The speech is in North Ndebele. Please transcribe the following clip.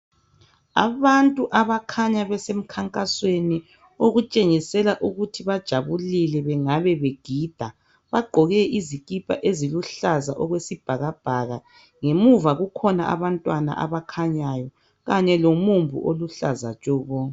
Abantu abakhanya besemkhankasweni , okutshengisela ukuthi bajabulile bengabe begida .Bagqoke izikhipha eziluhlaza okwesibhakabhaka, ngemuva kukhona abantwana abakhanyayo. Kanye lomumbu oluhlaza tshoko.